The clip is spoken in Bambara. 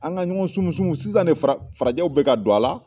An ka ɲɔgɔn sumusumu sisan de fara farajɛw bɛ ka don a la.